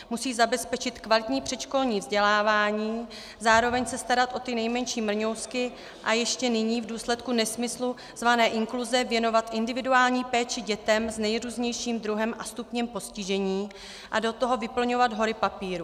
Musí zabezpečit kvalitní předškolní vzdělávání, zároveň se starat o ty nejmenší mrňousky a ještě nyní v důsledku nesmyslu zvaného inkluze věnovat individuální péči dětem s nejrůznějším druhem a stupněm postižení a do toho vyplňovat hory papírů.